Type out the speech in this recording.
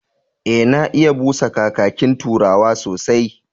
E, na iya busa kakakin Turawa sosai.